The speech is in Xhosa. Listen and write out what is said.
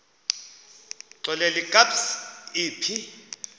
xelel kabs iphi